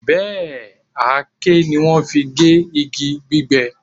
Bẹ́ẹ̀, àáké ni wọ́n fi gé igi gbígbẹ